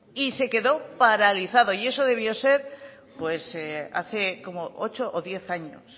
y se quedó paralizado y eso debió ser pues hace como ocho o diez años